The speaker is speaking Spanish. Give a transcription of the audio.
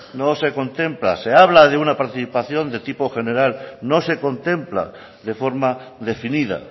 no se contempla se habla de una participación de tipo general no se contempla de forma definida